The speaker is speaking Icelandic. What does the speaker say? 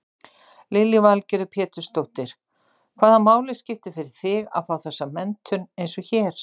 Lillý Valgerður Pétursdóttir: Hvaða máli skiptir fyrir þig að fá þessa menntun eins og hér?